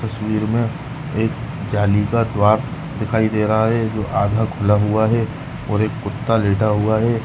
तस्वीर में एक जाली का द्वारा दिखाई दे रहा है जो आधा खुला हुआ है और एक कुत्ता लेटा हुआ है।